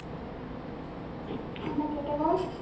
phone টা কেটে কর